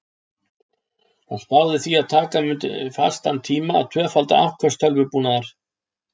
Hann spáði því að taka mundi fastan tíma að tvöfalda afköst tölvubúnaðar.